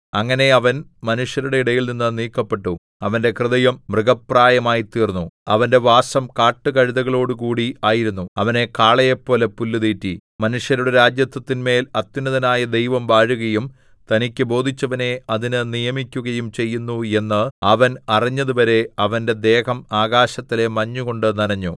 അങ്ങനെ അവൻ മനുഷ്യരുടെ ഇടയിൽനിന്ന് നീക്കപ്പെട്ടു അവന്റെ ഹൃദയം മൃഗപ്രായമായിത്തീർന്നു അവന്റെ വാസം കാട്ടുകഴുതകളോടുകൂടി ആയിരുന്നു അവനെ കാളയെപ്പോലെ പുല്ല് തീറ്റി മനുഷ്യരുടെ രാജത്വത്തിന്മേൽ അത്യുന്നതനായ ദൈവം വാഴുകയും തനിക്ക് ബോധിച്ചവനെ അതിന് നിയമിക്കുകയും ചെയ്യുന്നു എന്ന് അവൻ അറിഞ്ഞതുവരെ അവന്റെ ദേഹം ആകാശത്തിലെ മഞ്ഞുകൊണ്ടു നനഞ്ഞു